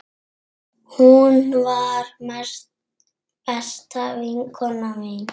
Hún var besta vinkona mín.